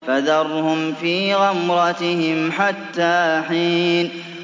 فَذَرْهُمْ فِي غَمْرَتِهِمْ حَتَّىٰ حِينٍ